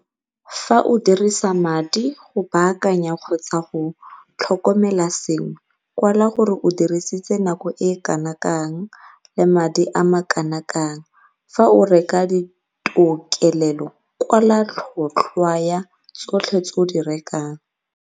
Fa o dirisa madi go baakanya kgotsa go tlhokomela sengwe kwala gore o dirisitse nako e kana kang le madi a makana kang. Fa o reka ditokelelo kwala tlhotlhwa ya tsotlhe tse o di rekang.